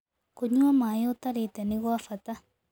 Kũnyua maĩĩ ũtarĩte nĩ gwa bata